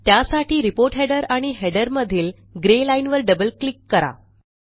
त्यासाठी report header आणि header मधील ग्रे लाईनवर डबल क्लिक करा